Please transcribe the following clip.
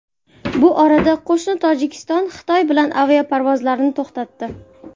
Bu orada qo‘shni Tojikiston Xitoy bilan aviaparvozlarni to‘xtatdi .